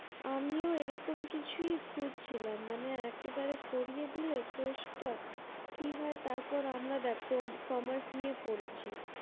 আমিও এরকম কিছু খুজছিলাম মানেএকেবারে করিয়ে দিলে course টা কি হয় দেখ আমরা commerce নিয়ে পড়েছি